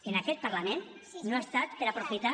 en aquest parlament no ha estat per aprofitar